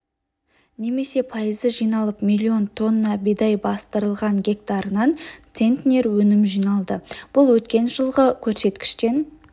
немесе пайызы жиналып млн тонна бидай бастырылған гектарынан центнер өнім жиналды бұл өткен жылғы көрсеткіштен